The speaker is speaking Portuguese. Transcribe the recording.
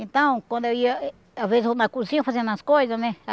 Então, quando eu ia... Às vezes eu na cozinha fazendo as coisas, né?